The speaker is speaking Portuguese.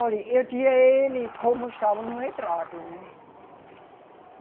Olha, eu tinha ele como estava no retrato, né?